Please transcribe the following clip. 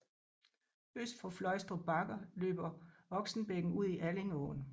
Øst for Fløjstrup Bakker løber Oksenbækken ud i Allingåen